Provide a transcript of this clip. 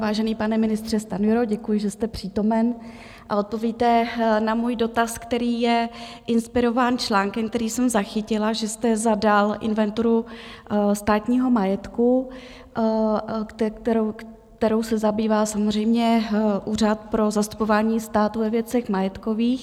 Vážený pane ministře Stanjuro, děkuji, že jste přítomen a odpovíte na můj dotaz, který je inspirován článkem, který jsem zachytila, že jste zadal inventuru státního majetku, kterou se zabývá samozřejmě Úřad pro zastupování státu ve věcech majetkových.